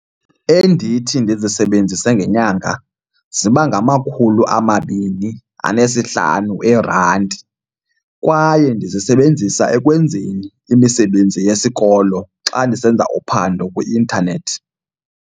Endithi ndizisebenzise ngenyanga ziba ngamakhulu amabini anesihlanu eerandi kwaye ndizisebenzisa ekwenzeni imisebenzi yesikolo xa ndisenza uphando kwi-intanethi.